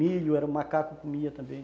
Milho, era o macaco que comia também.